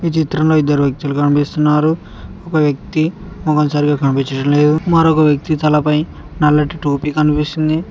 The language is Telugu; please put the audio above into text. ఈ చిత్రంలో ఇద్దరు వ్యక్తులు కనిపిస్తున్నారు ఒక వ్యక్తి మోకం సరిగా కనిపించడం లేదు మరొక వ్యక్తి తలపై నల్లటి టోపి కనిపిస్తూంది.